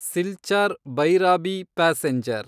Silchar Bhairabi passenger